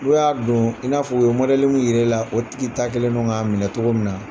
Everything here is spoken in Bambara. N'o y'a don i n'a fɔ u ye mɔdɛli min yira e la, o tigi ta kɛlen don k'a minɛ cogo min na!